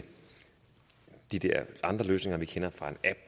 de der andre løsninger vi kender fra apps